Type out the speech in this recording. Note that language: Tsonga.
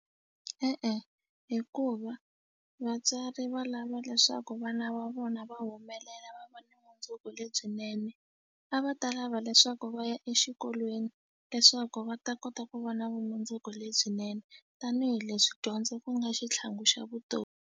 E-e hikuva vatswari va lava leswaku vana va vona va humelela va va ni mundzuku lebyinene a va ta lava leswaku va ya exikolweni leswaku va ta kota ku va na vumundzuku lebyinene tanihileswi dyondzo ku nga xitlhangu xa vutomi.